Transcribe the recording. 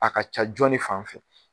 A ka ca jɔn de fan fɛ?